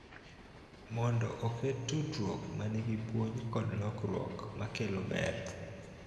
Mondo oket tudruok ma nigi puonj kod lokruok ma kelo ber.